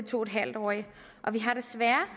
to en halv årige og vi har desværre